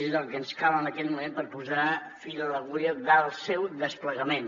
és el que ens cal en aquest moment per posar fil a l’agulla del seu desplegament